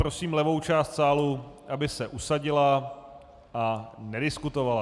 Prosím levou část sálu, aby se usadila a nediskutovala.